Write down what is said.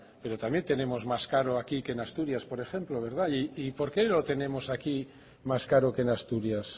pero también tenemos más caro aquí que en asturias por ejemplo y por qué lo tenemos aquí más caro que en asturias